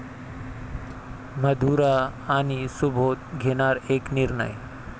मधुरा आणि सुबोध घेणार 'एक निर्णय'